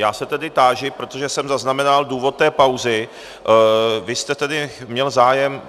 Já se tedy táži, protože jsem zaznamenal důvod té pauzy, vy jste tedy měl zájem...